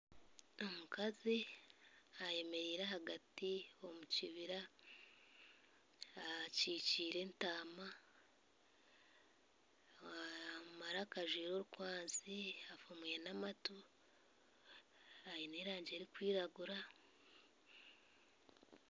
Omukazi ayemereire ahagati omukibira akikiire entama omumaraka ajwaire orukwanzi afuumwire namatu aine erangi erikwiragura